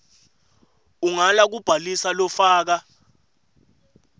ungala kubhalisa lofaka